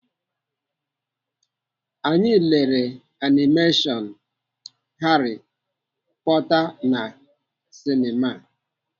Anyi lere animeshọn Harry Porter na sinema.